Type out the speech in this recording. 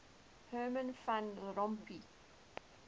herman van rompuy